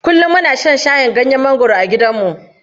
Kullum muna shan shayin ganyen mangwaro a gidanmu.